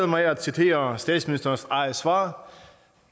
mig at citere statsministerens eget svar